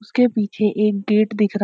उसके पीछे एक गेट दिख रहा --